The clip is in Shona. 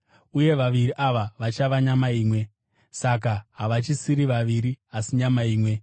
uye vaviri ava vachava nyama imwe. Saka havachisiri vaviri, asi nyama imwe.